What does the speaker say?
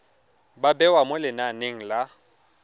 ba bewa mo lenaneng la